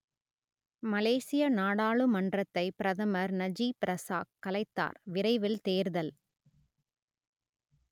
மலேசிய நாடாளுமன்றத்தை பிரதமர் Najib Razak கலைத்தார் விரைவில் தேர்தல்